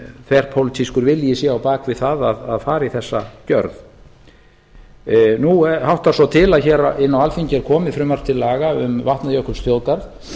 þverpólitískur vilji sé á bak við það að fara í þessa gjörð nú háttar svo til að hér inn á alþingi er komið frumvarp til laga um vatnajökulsþjóðgarð